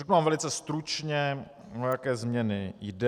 Řeknu vám velice stručně, o jaké změny jde.